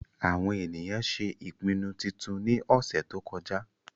àwọn ènìyàn ṣé ìpinnu titun ní ọ̀sẹ̀ tó kọjá